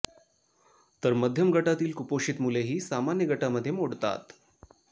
तर मध्यम गटातील कुपोषित मुले ही सामान्य गटामध्ये मोडतात